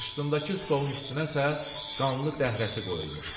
Qarşısındakı stolun üstünə isə qanlı dəhrəsi qoyulmuşdu.